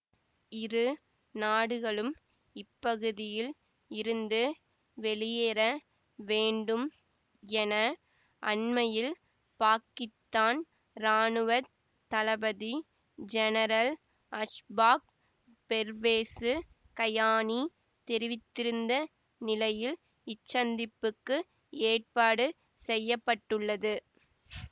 இரு நாடுகளும் இப்பகுதியில் இருந்து வெளியேற வேண்டும் என அண்மையில் பாக்கித்தான் இராணுவ தளபதி ஜெனரல் அஷ்பாக் பெர்வேசு கயானி தெரிவித்திருந்த நிலையில் இச்சந்திப்புக்கு ஏற்பாடு செய்ய பட்டுள்ளது